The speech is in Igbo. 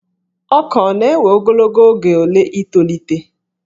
Ọka ọ na-ewe ogologo oge ole i tolite?